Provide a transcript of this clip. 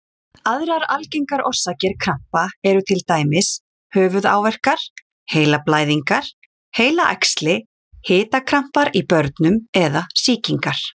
Aðrar algengar orsakir krampa eru til dæmis höfuðáverkar, heilablæðingar, heilaæxli, hitakrampar í börnum eða sýkingar.